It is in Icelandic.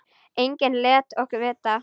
Enginn lét okkur vita.